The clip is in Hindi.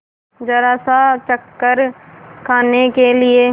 जरासा चक्कर खाने के लिए